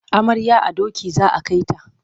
Amaryar a doki za a kai ta.